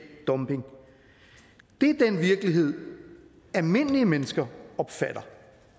dumping det er den virkelighed almindelige mennesker opfatter